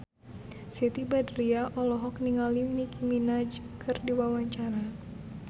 Siti Badriah olohok ningali Nicky Minaj keur diwawancara